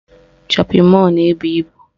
Shọpịn mọlụ na-ebu ibu